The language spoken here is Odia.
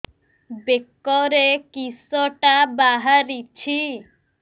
ବେକରେ କିଶଟା ବାହାରିଛି